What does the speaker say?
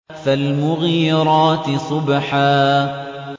فَالْمُغِيرَاتِ صُبْحًا